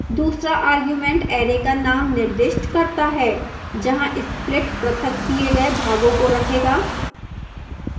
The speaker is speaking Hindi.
दूसरा argument array का name निर्दिष्ट करता है जहाँ split पृथक किए गए भागों को रखेगा